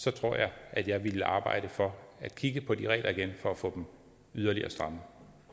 så tror jeg at jeg ville arbejde for at kigge på de regler igen for at få dem yderligere strammet